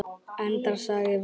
Endar sagan vel?